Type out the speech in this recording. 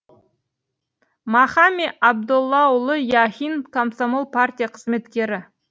махами абдоллаұлы яхин комсомол партия қызметкері